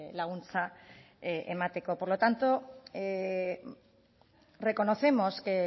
laguntza emateko por lo tanto reconocemos que